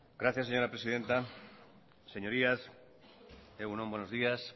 gracias señora presidenta señorías egun on buenos días